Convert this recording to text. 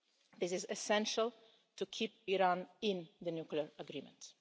This is essential to keep Iran in the nuclear agreement.